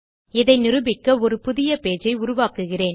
இதை நிரூபிக்க ஒரு புதிய பேஜ் ஐ உருவாக்குகிறேன்